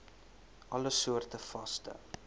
alle soorte vaste